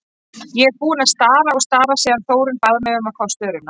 Ég er búin að stara og stara síðan Þórunn bað mig um að fá störuna.